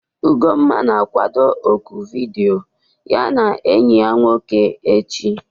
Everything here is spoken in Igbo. Ugonma na-akwado ọ́kụ̀ vidiyo ya na enyi ya nwoke echi.